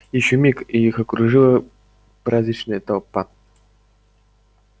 ещё миг и их окружила праздничная толпа